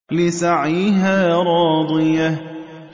لِّسَعْيِهَا رَاضِيَةٌ